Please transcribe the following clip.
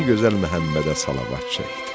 Adı gözəl Məhəmmədə salavat çəkdi.